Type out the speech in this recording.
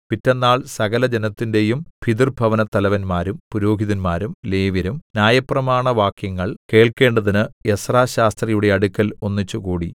പിറ്റെന്നാൾ സകലജനത്തിന്റെയും പിതൃഭവനത്തലവന്മാരും പുരോഹിതന്മാരും ലേവ്യരും ന്യായപ്രമാണവാക്യങ്ങൾ കേൾക്കേണ്ടതിന് എസ്രാശാസ്ത്രിയുടെ അടുക്കൽ ഒന്നിച്ചുകൂടി